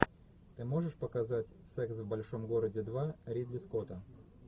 ты можешь показать секс в большом городе два ридли скотта